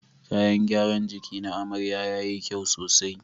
Kayan gyaran jiki na amarya yayi kyau sosai.